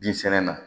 Bin sɛnɛ na